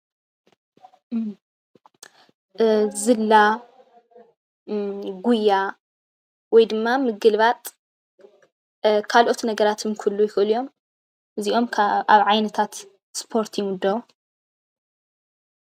ዝላ ጉያ ወይ ድማ ምግልባጥ ካልኦት ነገራትን ክህልዉ ይክእሉ እዮም እዚኦም ኣብ ዓይነታት ስፖርት ይምደቡ ።